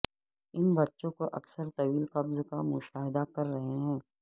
ان بچوں کو اکثر طویل قبض کا مشاہدہ کر رہے ہیں